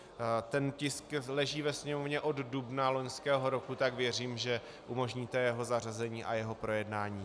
Tento tisk leží ve Sněmovně od dubna loňského roku, tak věřím, že umožníte jeho zařazení a jeho projednání.